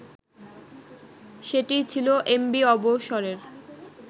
সেটিই ছিল এমভি অবসরের